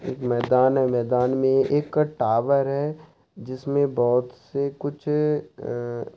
एक मैदान है मैदान में एक टावर है जिसमें बहुत से कुछ अ--